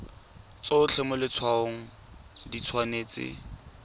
tsotlhe mo letshwaong di tshwanetse